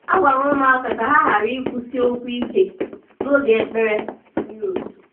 A gwara ụmụaka ka ha ghara ikwusi okwu ike n'oge ekpere mmiri ozuzo.